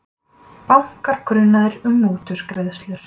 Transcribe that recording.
Bankar grunaðir um mútugreiðslur